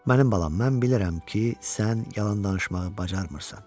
Mənim balam, mən bilirəm ki, sən yalan danışmağı bacarmırsan.